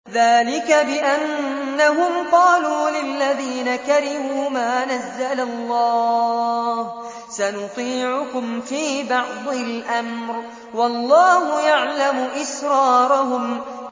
ذَٰلِكَ بِأَنَّهُمْ قَالُوا لِلَّذِينَ كَرِهُوا مَا نَزَّلَ اللَّهُ سَنُطِيعُكُمْ فِي بَعْضِ الْأَمْرِ ۖ وَاللَّهُ يَعْلَمُ إِسْرَارَهُمْ